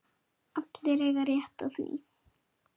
Allir eiga rétt á því.